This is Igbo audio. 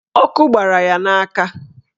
Ọkụ gbara ya n'aka.